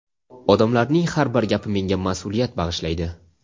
Odamlarning har bir gapi menga mas’uliyat bag‘ishlaydi.